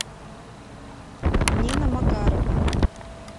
нина макарова